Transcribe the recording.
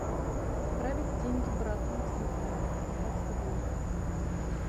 отправить деньги брату на телефон двадцать рублей